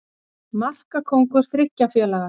Markakóngur þriggja félaga